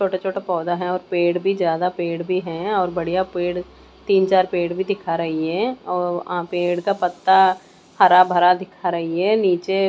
चोटा- चोटा पौधा है और पेड़ भी ज्यादा पेड़ भी है और बढ़िया पेड़ तीन चार पेड़ भी दिखा रही है और पेड़ का पत्ता हरा भरा दिखा रही है नीचे--